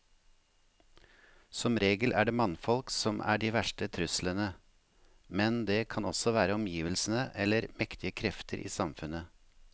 Som regel er det mannfolk som er de verste truslene, men det kan også være omgivelsene eller mektige krefter i samfunnet.